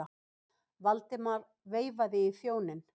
Valdimar veifaði í þjóninn.